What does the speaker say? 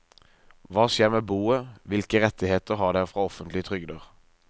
Hva skjer med boet, hvilke rettigheter har dere fra offentlige trygder.